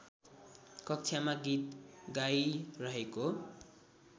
कक्षामा गीत गाइरहेको